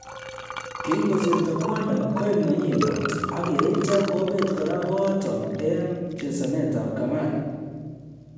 Kingosirto kwanda, koik nenyin kot, ak yeityo kobeet kora kooton en chesanetab kamari